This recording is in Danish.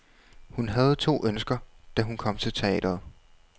Hun havde to ønsker, da hun kom til teatret.